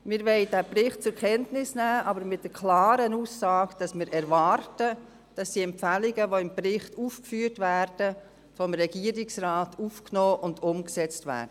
Wir wollen den Bericht zur Kenntnis nehmen, aber mit der klaren Aussage, dass wir erwarten, dass die im Bericht aufgeführten Empfehlungen vom Regierungsrat aufgenommen und umgesetzt werden.